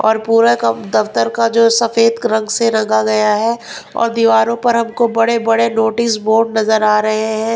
और पूरा कब दफ्तर का जो सफेद रंग से रंगा गया है और दीवारों पर हमको बड़े बड़े नोटिस बोर्ड नजर आ रहे हैं।